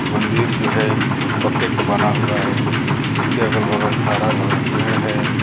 मंदिर जो हैं वो पक्के का बना हुआ हैं उसके अगल बगल हरा भरा पेड़ है।